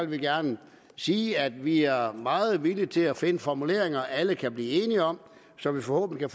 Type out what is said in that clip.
vi gerne sige at vi er meget villige til at finde formuleringer alle kan blive enige om så der forhåbentlig